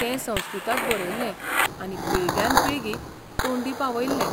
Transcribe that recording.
ते संस्कृतांत बरयल्ले आनी पिळग्यान पिळगी तोंडी पावयल्ले.